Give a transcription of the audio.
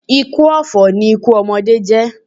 Ikú ọ̀fọ̀ ni ikú ọmọdé jẹ́.